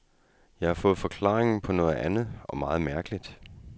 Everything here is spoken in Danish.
Jeg har fået forklaringen på noget andet og meget mærkeligt.